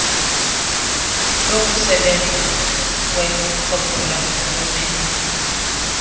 lokusebenza lwecbnrm lomenzeli